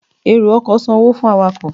ero-ọkọ san owo fún awakọ.